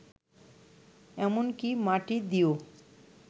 এমনকি মাটি দিয়েও